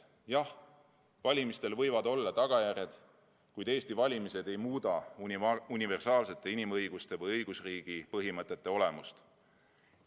Jah, valimistel võivad olla tagajärjed, kuid Eesti valimised ei muuda universaalsete inimõiguste või õigusriigi põhimõtete olemust.